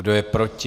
Kdo je proti?